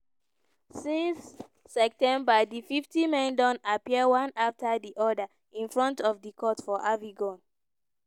since september di 50 men don appear one after di oda in front of di court for avignon.